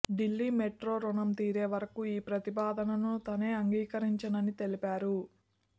Delhi metro రుణం తీరే వరకు ఈ ప్రతిపాదనను తాను అంగీకరించనని తెలిపారు